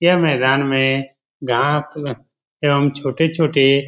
यह मैदान में घास एवं छोटे-छोटे --